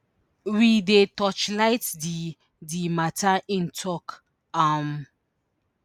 we dey torchlight di di mata im tok um